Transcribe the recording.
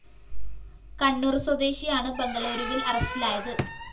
കണ്ണൂര്‍ സ്വദേശിയാണ് ബംഗളൂരുവില്‍ അറസ്റ്റിലായത്